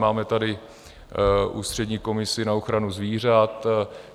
Máme tady ústřední komisi na ochranu zvířat.